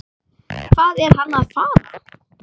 Hvað er hann að fara?